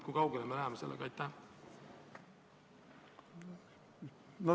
Kui kaugele me sellega läheme?